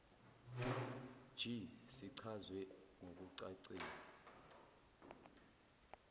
g sichazwe ngokucacile